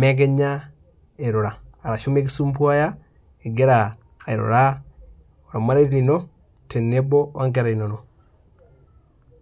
mekinya irura ashu mikisumbua ingira airura, ormarei lino tenebo onkera inonok.